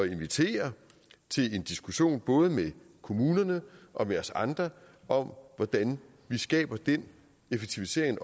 invitere til en diskussion både med kommunerne og med os andre om hvordan vi skaber den effektivisering